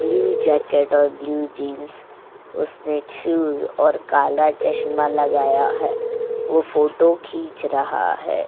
Blue jacket और blue jeans उसने shoes और काला चश्मा लगाया है वो फोटो खींच रहा है।